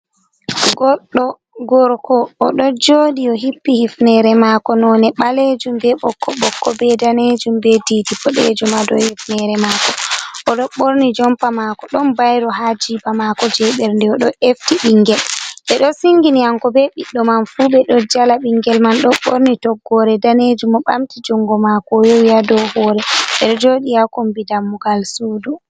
Goɗɗo gorko o ɗo joɗi ,o hippi hifnere maako none ɓaleejum ,be ɓokko ɓokko be daneejum ,be didi boɗeejum a dow hifnere maako. O ɗo ɓorni jompa maako, ɗon bayro haa jiiba maako jey ɓernde. O ɗo efti ɓinngel ɓe ɗo singini hanko be ɓiɗɗo man fu ɓe ɗo jala. Ɓinngel man ɗo ɓorni toggoore daneejum ,o ɓamti junngo maako o yowi haa dow hoore, ɓe ɗo jooɗi haa kombi dammugal suudu.